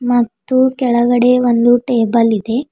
ಮತ್ತು ಕೆಳಗಡೆ ಒಂದು ಟೇಬಲ್ ಇದೆ.